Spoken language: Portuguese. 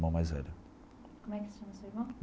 Irmão mais velho. Como é que se chama seu irmão?